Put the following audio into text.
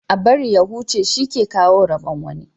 A bari ya huce shi ke kawo rabon wani.